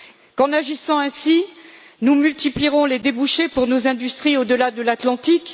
Qu'en agissant ainsi, nous multiplierons les débouchés pour nos industries au delà de l'Atlantique?